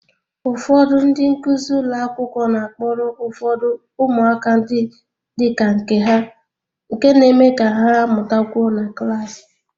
Ụfọdụ ndị nkuzi ụlọ akwụkwọ na-akpọrọ ụfọdụ umuaka dị ka nke ha nke na-eme ka ha mụtakwuo na klaasị